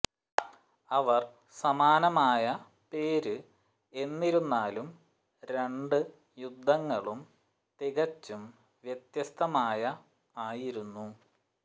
അവർ സമാനമായ പേര് എന്നിരുന്നാലും രണ്ട് യുദ്ധങ്ങളും തികച്ചും വ്യത്യസ്തമായ ആയിരുന്നു